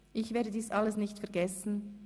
Ich werde dies alles nicht vergessen;